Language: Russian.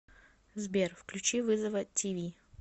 сбер включи вызова ти ви